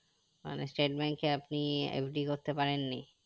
মানে state bank এ আপনি FD করতে পারেননি